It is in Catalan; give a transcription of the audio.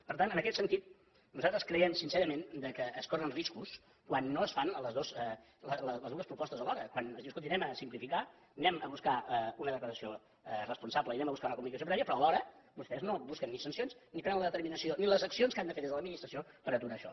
per tant en aquest sentit nosaltres creiem sincerament que es corren riscos quan no es fan les dues propostes alhora quan es diu escolti anem a simplificar anem a buscar una declaració responsable i anem a buscar una comunicació prèvia però alhora vostès no busquen ni sancions ni prenen la determinació ni les accions que han de fer des de l’administració per aturar això